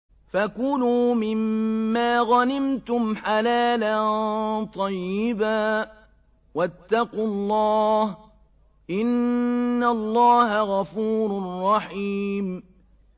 فَكُلُوا مِمَّا غَنِمْتُمْ حَلَالًا طَيِّبًا ۚ وَاتَّقُوا اللَّهَ ۚ إِنَّ اللَّهَ غَفُورٌ رَّحِيمٌ